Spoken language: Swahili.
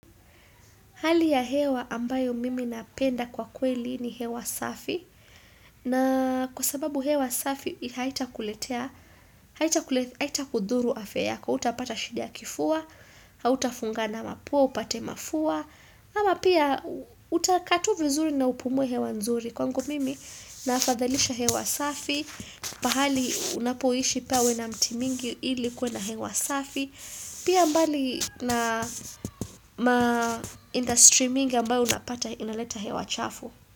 Hali ya hewa ambayo mimi napenda kwa kweli ni hewa safi na kwa sababu hewa safi haita kuletea, haita kudhuru afya yako hautapata shida ya kifua, hautafungana mapua upate mafua, ama pia utakaa tu vizuri na upumuwe hewa nzuri. Kwangu mimi naafadhalisha hewa safi pahali unapoishi pawe na mti mingi ili kuwe na hewa safi Pia mbali na ma industry mingi ambayo unapata inaleta hewa chafu.